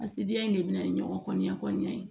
A sigida in de bɛ na ni ɲɔgɔn ya kɔnɔna ye